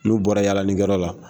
N'u bɔra yaalaninkɛ yɔrɔ la